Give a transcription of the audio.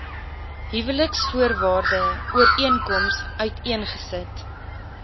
huweliksvoorwaarde ooreenkoms uiteengesit